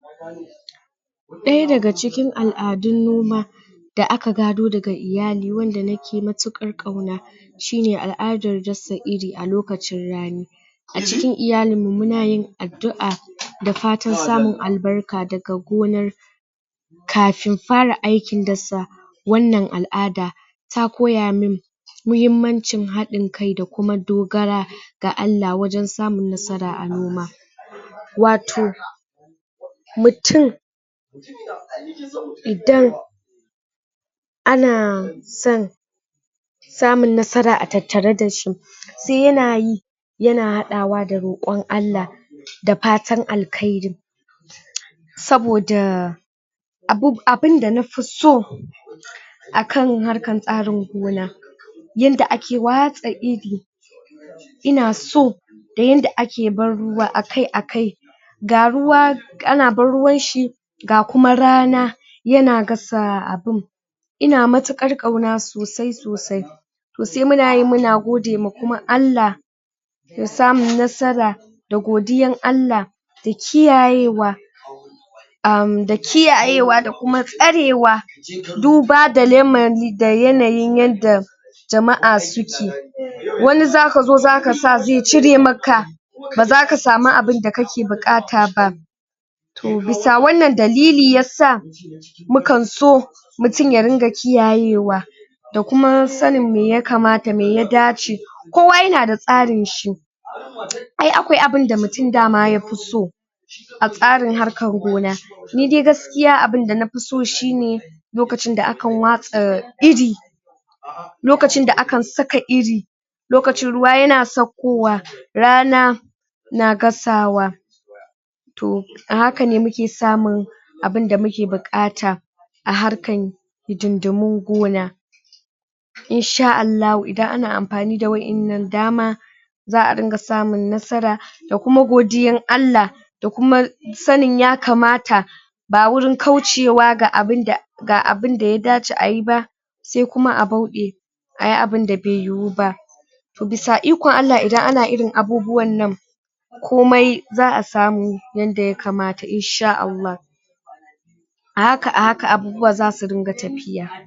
ɗaya daga cikin Al'adun noma da aka gado daga iyali, wanda nake matuƙar ƙauna shine al'adar dasa Iri a lokacin rani a cikin iyalin muna yin addu'a da fatan samun albarka daga gonar kafin fara aikin dasa wannan al'ada ta koya min mahimmancin haɗin kai da kuma dogara da Allah wajan samun nasara a noma wato mutum idan ana son samun nasara a tattare dashi sai yana yi yana haɗawa da roƙon Allah da fatan alkairi saboda abunda nafi so akan harkar tsarin gona yadda ake watsa Iri ina so da yadda ake ban ruwa akai akai ga ruwa ana ban ruwan shi ga kuma rana yana gasa abun ina matuƙar ƙauna sosai sosai to sai muna yi muna godewa kuma Allah da samun nasara da godiyar Allah da kiyayewa da kiyayewa da kuma tsarewa duba da lamari da yanayin yadda jama'a suke wani zaka zo, zaka sa zai cire maka ba zaka samu abinda aka buƙata ba to, bisa wannan dalili yasa mukan so mutum ya dunga kiyayewa da kuma sanin me yakamata me ya dace kowa yana da tsarin shi ai akwai abunda dama mutum yafi so a tsarin harkar gona ni dai gaskiya abunda nafi so shine lokacin da akan watsa Iri lokacin da akan saka irin lokacin ruwa yana sauƙo wa rana na gasawa to a hakane muke samun abunda muke buƙata hakan hidindimin gona InshaAllahu idan ana amfani da wa'yan nan dama za'a dunga samun nasara da kuma godiya Allah da kuma sanin yakamata ba wurin kaucewa ga abinda ga abinda ya dace ayi ba sai kuma a bauɗe ayi abunda bai yiyuba bisa ikon Allah idan ana irin abubuwan nan komai za'a samu yadda yakamata insha Allah a haka, a haka abubuwa zasu dunga tafiya